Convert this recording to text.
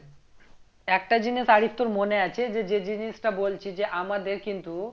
একটা জিনিস আদি তোর মনে আছে যে যে জিনিসটা বলছি যে আমাদের কিন্তু